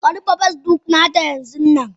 Ka rufe Facebook na ta yanzunnan.